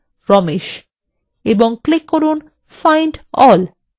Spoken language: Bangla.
এবং click করুন find all